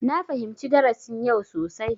Na fahimci darasin yau sosai.